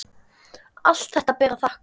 Allt þetta ber að þakka.